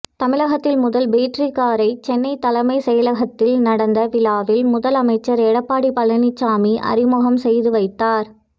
தமிழகத்தில் முதல் பேட்டரி காரை சென்னை தலைமைச் செயலகத்தில் நடந்த விழாவில் முதலமைச்சர் எடப்பாடி பழனிச்சாமி அறிமுகம் செய்து வைத்தார்